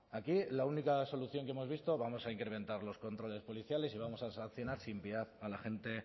aquí la única solución que hemos visto vamos a incrementar los controles policiales y vamos a reaccionar sin piedad a la gente